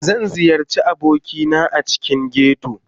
Zan ziyarci abokina a cikin ghetto